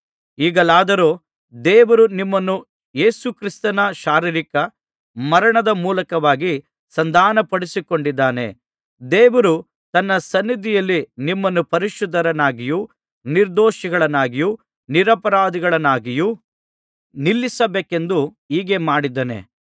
ಈಗಲಾದರೋ ದೇವರು ನಿಮ್ಮನ್ನು ಯೇಸುಕ್ರಿಸ್ತನ ಶಾರೀರಿಕ ಮರಣದ ಮೂಲಕವಾಗಿ ಸಂಧಾನಪಡಿಸಿಕೊಂಡಿದ್ದಾನೆ ದೇವರು ತನ್ನ ಸನ್ನಿಧಿಯಲ್ಲಿ ನಿಮ್ಮನ್ನು ಪರಿಶುದ್ಧರನ್ನಾಗಿಯೂ ನಿರ್ದೋಷಿಗಳನ್ನಾಗಿಯೂ ನಿರಪರಾಧಿಗಳನ್ನಾಗಿಯೂ ನಿಲ್ಲಿಸಬೇಕೆಂದು ಹೀಗೆ ಮಾಡಿದ್ದಾನೆ